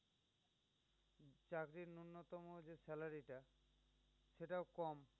চাকরির ন্যন্নতম যে salary টা সেটাও কম।